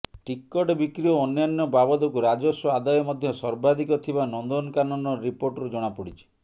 ticket ବିକ୍ରି ଓ ଅନ୍ୟାନ୍ୟ ବାବଦକୁ ରାଜସ୍ୱ ଆଦାୟ ମଧ୍ୟ ସର୍ବାଧିକ ଥିବା ନନ୍ଦନକାନନର ରିପୋର୍ଟରୁ ଜଣାପଡ଼ିଛି